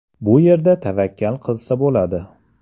Bu yerda tavakkal qilsa bo‘ladi.